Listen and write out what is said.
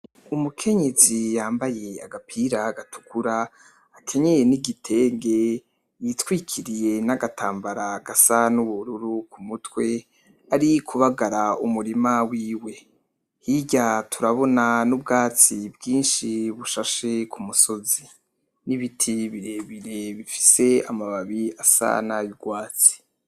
Umukenyezi yambaye agapira gatukura, akenyeye n'igitenge, yitwikiriye n'agatambara gasa n'ubururu ku mutwe, ariko kubagara umurima wiwe. Hirya turabona n'ubwatsi bwinshi bushashe ku musozi, n'ibiti birebire bifise amababi asa nay'urwatsi.